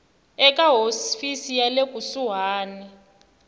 eka hofisi ya le kusuhani